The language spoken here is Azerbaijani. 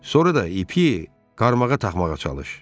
Sonra da ipi qarmağa taxmağa çalış.